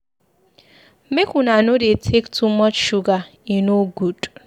Make una no dey take too much sugar, e no good.